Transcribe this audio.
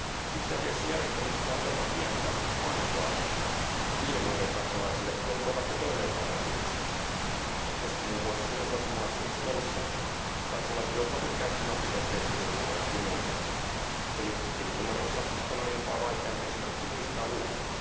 Itse asiassa järjestelmästä on jopa pientä vaivaa niiden maiden kansalaisille, jotka ovat jo toimeenpanneet uudistuksen, koska muun muassa minun kotimaassani Suomessa kansalaiset joutuvat nyt käyttämään pitempiä tilinumeroita kuin ennen eli tilinumeronsa on aiempaa vaikeampi esimerkiksi muistaa ulkoa.